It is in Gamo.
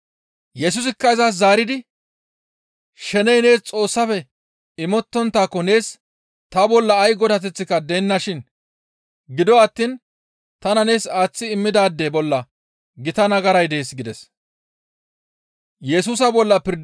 Yesusikka izas zaaridi, «Sheney nees Xoossafe imettonttaako nees ta bolla ay godateththika deennashin; gido attiin tana nees aaththi immidaade bolla gita nagaray dees» gides.